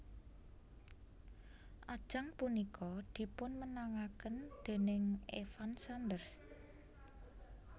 Ajang punika dipunmenangaken déning Evan Sanders